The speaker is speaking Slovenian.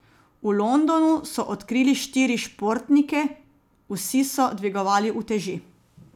V Londonu so odkrili štiri športnike, vsi so dvigovali uteži.